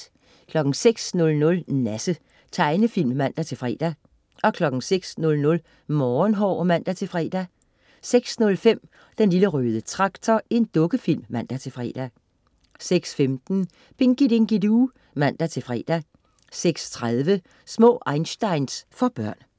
06.00 Nasse. Tegnefilm (man-fre) 06.00 Morgenhår (man-fre) 06.05 Den lille røde traktor. Dukkefilm (man-fre) 06.15 Pinky Dinky Doo (man-fre) 06.30 Små einsteins. For børn